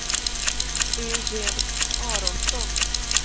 Eugen Aronsson